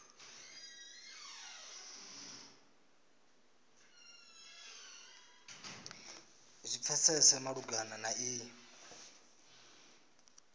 zwi pfesese malugana na iyi